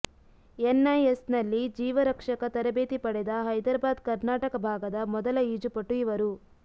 ಎನ್ಐಎಸ್ನಲ್ಲಿ ಜೀವ ರಕ್ಷಕ ತರಬೇತಿ ಪಡೆದ ಹೈದರಾಬಾದ್ ಕರ್ನಾಟಕ ಭಾಗದ ಮೊದಲ ಈಜುಪಟು ಇವರು